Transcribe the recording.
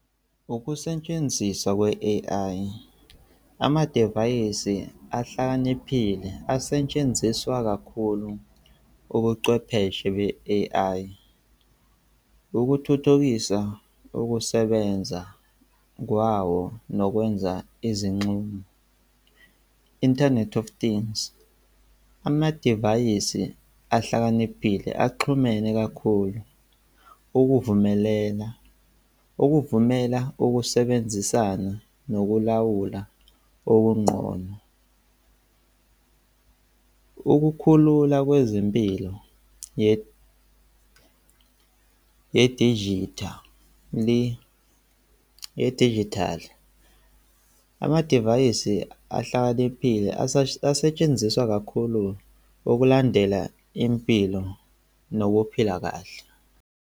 Ukusetshenziswa kwe-A_I, amadevayisi ahlakaniphile asetshenziswa kakhulu ubuchwepheshe be-A_I. Ukuthuthukisa ukusebenza kwawo nokwenza izinxumo, internet of things. Amadivayisi ahlakaniphile axhumene kakhulu ukuvumelena, ukuvumela ukusebenzisana nokulawula okungqono. Ukukhulula kwezempilo yedijithali, yedijithali. Amadivayisi ahlakaniphile asetshenziswa kakhulu wokulandela impilo nokuphila kahle.